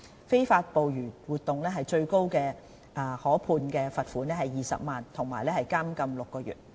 非法捕魚活動最高可判罰款20萬元及監禁6個月。